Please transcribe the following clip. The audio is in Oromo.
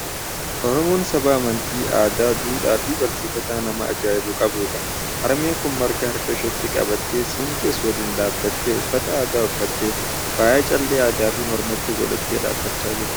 Oromoon saba amantii, aadaa, duudhaa fi barsiifata nama ajaa'ibu qabudha! Harmeen kun marga harka isheetti qabattee, siinqees waliin dhaabbattee, uffata aadaa uffattee, faaya callee addaa fi mormatti godhattee dhaabachaa jirti.